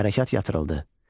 Hərəkat yatırıldı.